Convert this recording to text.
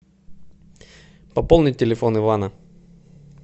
пополнить телефон ивана